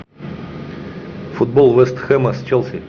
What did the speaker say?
футбол вест хэма с челси